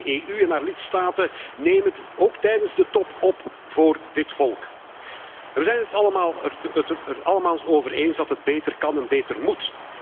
En ik vraag de EU en haar lidstaten neem het ook tijdens de top op voor dit volk. We zijn het er allemaal over eens dat het beter kan en beter moet.